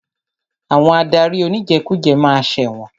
Àwọn adarí oníjẹkújẹ ma ṣẹ̀wọ̀n.